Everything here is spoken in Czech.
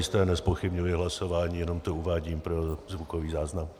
Zajisté nezpochybňuji hlasování, jenom to uvádím pro zvukový záznam.